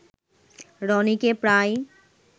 রনিকে প্রায়